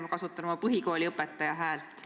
Ma kasutan oma põhikooliõpetaja häält.